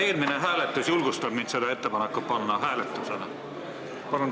Eelmine hääletus julgustab mind seda ettepanekut hääletusele panema.